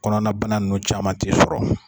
Kɔnɔna bana nunnu caman t'i sɔrɔ.